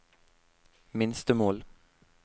minstemål